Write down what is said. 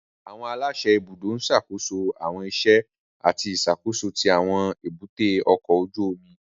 Àwọn aláṣẹ ibùdó ń ṣàkóso àwọn iṣẹ́ àti ìṣàkóso tí àwọn èbúté ọkọ̀ ojú omi